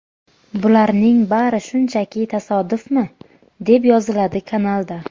Bularning bari shunchaki tasodifmi?”, deb yoziladi kanalda.